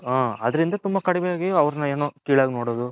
ಹ ಅದರಿಂದ ತುಂಬಾ ಕಡಿಮೆ ಆಗಿ ಅವರನ್ನ ಏನೋ ತುಂಬಾ ಕಿಳಗಿ ನೋಡದು.